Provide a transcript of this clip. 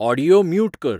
audio mute कर